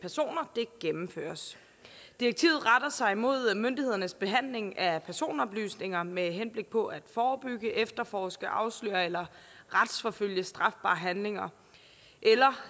personer gennemføres direktivet retter sig mod myndighedernes behandling af personoplysninger med henblik på at forebygge efterforske afsløre eller retsforfølge strafbare handlinger